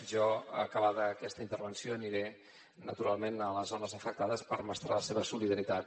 jo acabada aquesta intervenció aniré naturalment a les zones afectades per mostrar la meva solidaritat